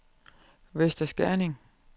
Vester Skerning